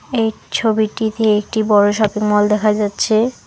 এই ছবিটিতে একটি বড় শপিং মল দেখা যাচ্ছে।